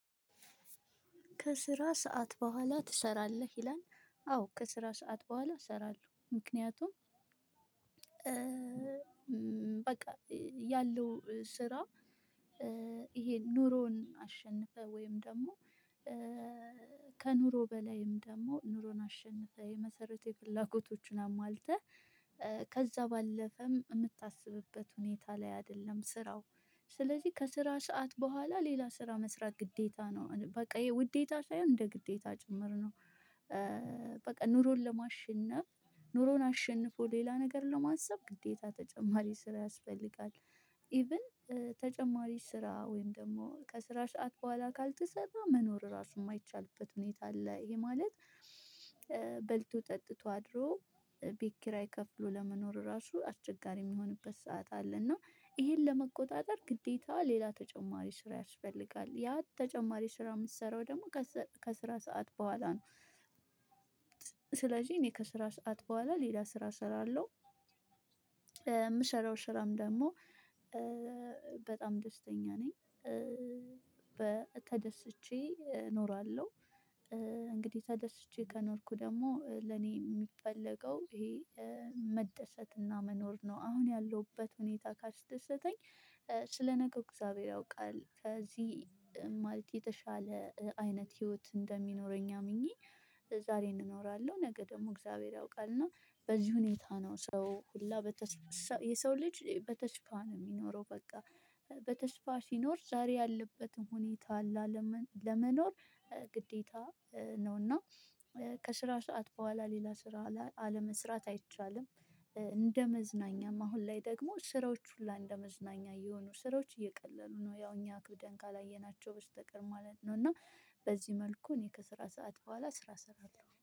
ከስራ ሰዓት በኋላ ትሰራለህ ይላል? አዎ ከስራ ሰዓት በኋላ እሰራለሁ ምክንያቱም በቃ ያለው ስራ ይሄ ኑሮን አሸንፈህ ወይም ደግሞ ከኑሮ በላይም ደግሞ ኑሮን አሸንፈህ የመሰረታዊ ፍላጎቶችን አሟልተህ ከዛ ባለፈም የምታስብበት ሁኔታ ላይ አይደለም ስራው ስለዚህ ከስራ ሰዓት በኋላ ሌላ ስራ መስራት ግዴታ ነው በቃ ውዴታ ሳይሆን እንደ ግዴታ ጭምር ነው። በቃ ኑሮን ለማሸነፍ ኑሮን አሸንፎ ሌላ ነገር ለማሰብ ግዴታ ተጨማሪ ስራ ያስፈልጋል። ኢቭን ተጨማሪ ስራ ወይም ደግሞ ከስራ ሰዓት በኋላ ካልተሰራ መኖር ራሱ የማይቻልበት ሁኔታ አለ። ይሄ ማለት በልቶ ጠጥቶ አድሮ ቤት ኪራይ ከፍሎ ለመኖር ራሱ አስቸጋሪ የሚሆንበት ሰዓት አለ። እና ይሄን ለመቆጣጠር ግዴታ ሌላ ተጨማሪ ስራ ያስፈልጋል ያ ተጨማሪ ስራ የምትሰራው ደግሞ ከስራ ሰዓት በኋላ ነው። ስለዚህ እኔ ከስራ ሰዓት በኋላ ሌላ ስራ እሰራለሁ የምሰራው ስራም ደግሞ በጣም ደስተኛ ነኝ። ተደስቼ ኖራለሁ። እንግዲህ ተደስቼ ከኖርኩ ደግሞ ለኔ የሚፈለገው ይሄ መደሰትና መኖር ነው። አሁን ያለሁበት ሁኔታ ካስደሰተኝ ስለ ነገር እግዚአብሔር ያውቃል ከዚህ ማለት የተሻለ አይነት ህይወት እንደሚኖረኝ አምኜ ዛሬን እንኖራለሁ ነገ ደግሞ እግዚአብሔር ያውቃል። እና በዚህ ሁኔታ ነው ሰው ሁላ በተስፋ የሰው ልጅ በተስፋ ነው የሚኖረው። በቃ በተስፋ ሲኖር ዛሬ ያለበትም ሁኔታ አለ ለመኖር ግዴታ ነው። እና ከስራ ሰዓት በኋላ ሌላ ስራ አለመስራት አይቻልም። እንደ መዝናኛም አሁን ላይ ደግሞ ስራዎች ሁሉ እንደመዝናኛ የሆኑ ስራዎች እየቀለሉ ነው ያው እኛ አክብደን ካላየናቸው በስተቀር ማለት ነው። እና በዚህ መልኩ እኔ ከስራ ሰዓት በኋላ ስራ እሰራለሁ